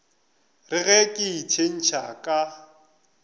re ge ke itshetšha ka